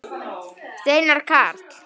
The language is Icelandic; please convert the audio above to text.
Steinar Karl.